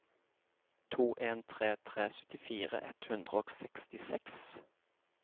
to en tre tre syttifire ett hundre og sekstiseks